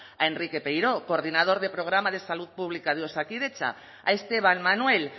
a enrique peiró coordinador del programa de salud pública de osakidetza a esteban manuel